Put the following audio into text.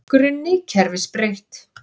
Grunni kerfis breytt